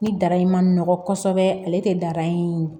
Ni dara in ma nɔgɔ kosɛbɛ ale tɛ daraye